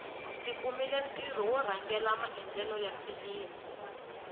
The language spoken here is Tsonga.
ndzi kumile ntirho wo rhangela maendlelo ya filimi